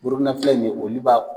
Burukina filɛ ni ye olu b;a